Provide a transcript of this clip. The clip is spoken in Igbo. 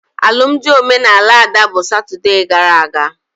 Alụmdi omenala Ada bụ Satode gara aga